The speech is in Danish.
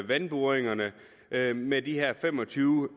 vandboringerne med de her fem og tyve